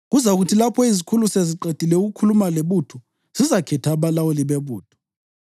Kuzakuthi lapho izikhulu seziqedile ukukhuluma lebutho, zizakhetha abalawuli bebutho.